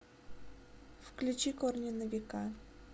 включи корни на века